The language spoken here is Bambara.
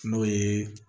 N'o ye